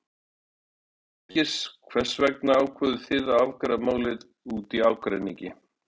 Heimir: Birgir, hvers vegna ákváðuð þið að afgreiða málið út í ágreiningi?